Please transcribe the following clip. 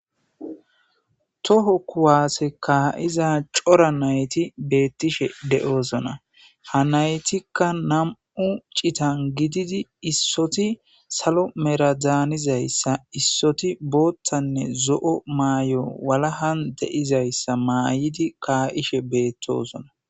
Toho kuwaase kaa'iza cora nayti beettishe de'oosona ha naytikka nam'u citan gididi issoti salo meradaanizayssa issoti boottanne zo'o maay'o walahan deizayssa maayidi kaa'ishe beettoosona.